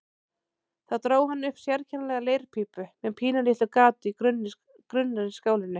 Þá dró hann upp sérkennilega leirpípu með pínulitlu gati í grunnri skálinni.